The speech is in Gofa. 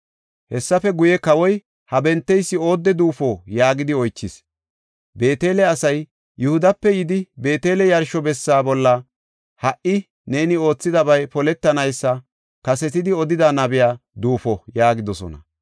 Hessafe guye kawoy, “Ha benteysi oodde duufo?” yaagidi oychis. Beetele asay, “Yihudape yidi, Beetele yarsho bessa bolla ha77i neeni oothidabay poletanaysa kasetidi odida nabiya duufo” yaagidosona.